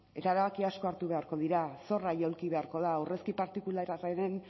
eta erabaki asko hartu beharko dira zorra jaulki beharko da aurrezki partikularraren